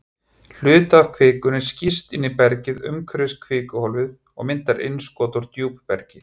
Hluti af kvikunni skýst inn í bergið umhverfis kvikuhólfið og myndar innskot úr djúpbergi.